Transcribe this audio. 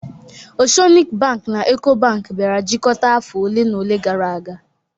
Oceanic bank na Eco Bank bịara jikọta afọ ole na ole gara aga